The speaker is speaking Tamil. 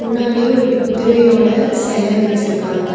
முன்னாடியே ஒரு குதிரையோட செல வெச்சிருக்காங்க.